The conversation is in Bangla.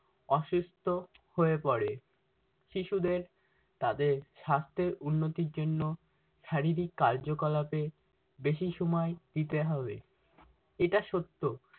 অসুস্থ হয়ে পরে। শিশুদের তাদের সাস্থের উন্নতির জন্য শারীরিক কার্যকলাপে বেশি সময় দিতে হবে। এটা সত্য-